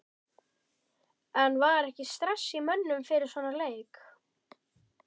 En var ekki stress í mönnum fyrir svona leik?